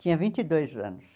Tinha vinte e dois anos.